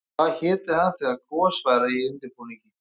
Hvað héti hann þegar gos væri í undirbúningi?